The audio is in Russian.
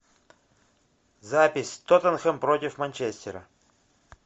запись тоттенхэм против манчестера